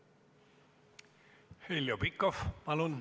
Heljo Pikhof, palun!